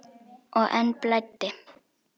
Og enn blæddi.